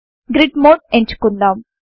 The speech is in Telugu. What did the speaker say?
గ్రిడ్ మోడ్ ఎంచుకుందాం